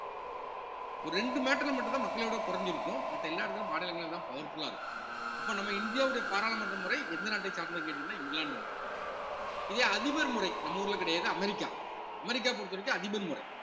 ஒரு ரெண்டு matter ல மட்டும்தான் மக்களவை விட குறைஞ்சிருக்கும் மத்த எல்லா இடத்துலயும் மாநிலங்கள்லதான் powerful ஆ இருக்கும் அப்ப நம்ம இந்தியாவுடைய பாராளுமன்ற முறை எந்த நாட்டை சார்ந்ததுன்னு கேட்டீங்கன்னா இங்கிலாந்து முறை இதே அதிபர் முறை நம்ம ஊர்ல கிடையாது அமெரிக்கா அமெரிக்கா பொறுத்தவரைக்கும் அதிபர் முறை